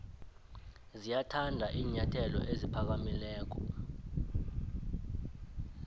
ziyathanda iinyathelo eziphakamileko